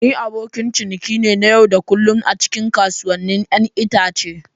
Ni abokin ciniki ne na yau da kullun a cikin kasuwannin 'ya'yan itace.